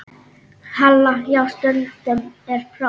Halla: Já, stundum er próf.